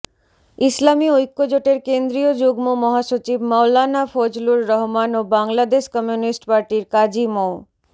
ইসলামি ঐক্যজোটের কেন্দ্রীয় যুগ্ম মহাসচির মাওলানা ফজলুর রহমান ও বাংলাদেশ কমিউনিস্টপার্টির কাজী মো